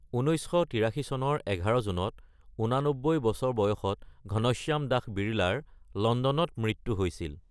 ১৯৮৩ চনৰ ১১ জুনত ৮৯ বছৰ বয়সত ঘনশ্যাম দাস বিৰলাৰ লণ্ডনত মৃত্যু হৈছিল।